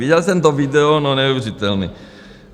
Viděl jsem to video - no, neuvěřitelné.